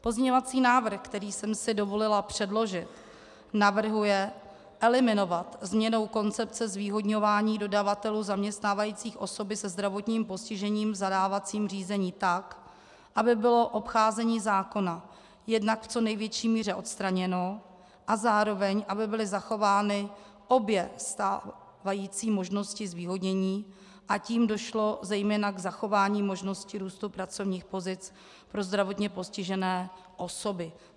Pozměňovací návrh, který jsem si dovolila předložit, navrhuje eliminovat změnou koncepce zvýhodňování dodavatelů zaměstnávajících osoby se zdravotním postižením v zadávacím řízení tak, aby bylo obcházení zákona jednak v co největší míře odstraněno a zároveň aby byly zachovány obě stávající možnosti zvýhodnění, a tím došlo zejména k zachování možnosti růstu pracovních pozic pro zdravotně postižené osoby.